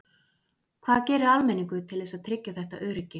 Hvað gerir almenningur til þess að tryggja þetta öryggi?